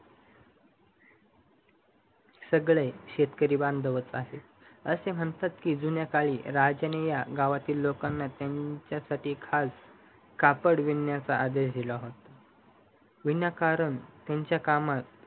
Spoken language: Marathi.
सगळे शेतकरी बांधवच आहेत असे म्हणतात जुन्या काळी राजन या गावातील लोकांना त्यांच्यासाठी खास कापड विणण्याचा आदेश दिला होतो विनाकारण त्यांच्या कामात